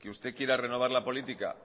que usted quiera renovar la política